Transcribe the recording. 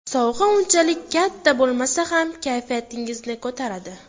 Sovg‘a unchalik katta bo‘lmasa ham kayfiyatingizni ko‘taradi.